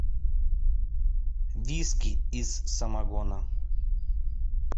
виски из самогона